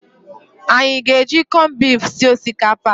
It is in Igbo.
Anyị aga-eji kọnbifu sie osikapa a?